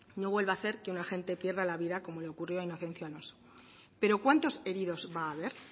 no vuelva hacer que un agente pierda la vida como le ocurrió a inocencio alonso pero cuántos heridos va a haber